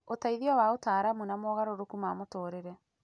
ũteithio wa ataaramu, na mogarũrũku ma mũtũũrĩre.